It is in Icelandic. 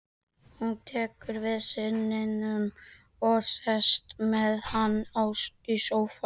Hún tekur við syninum og sest með hann í sófann.